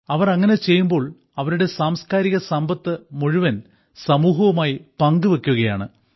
അവർ അങ്ങനെ ചെയ്യുമ്പോൾ അവരുടെ സാംസ്കാരിക സമ്പത്ത് മുഴുവൻ സമൂഹവുമായി പങ്കുവെയ്ക്കുകയാണ്